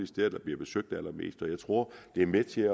steder der bliver besøgt allermest og jeg tror det er med til